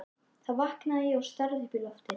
Þar vaknaði ég og starði upp í loftið.